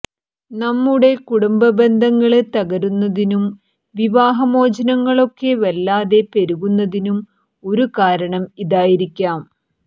നമ്മുടെ കുടുംബബന്ധങ്ങള് തകരുന്നതിനും വിവാഹമോചനങ്ങളൊക്കെ വല്ലാതെ പെരുകുന്നതിനും ഒരു കാരണം ഇതായിരിക്കാം